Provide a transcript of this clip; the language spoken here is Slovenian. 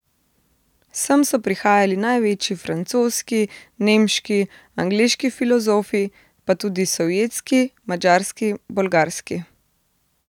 Sem so prihajali največji francoski, nemški, angleški filozofi, pa tudi sovjetski, madžarski, bolgarski ...